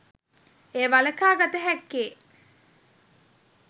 එය වළකා ගත හැක්කේ